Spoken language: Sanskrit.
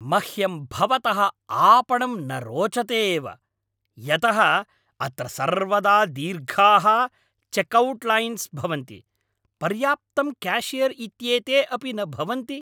मह्यं भवतः आपणं न रोचते एव यतः अत्र सर्वदा दीर्घाः चेक्औट्लैन्स् भवन्ति, पर्याप्तं क्याशियर् इत्येते अपि न भवन्ति।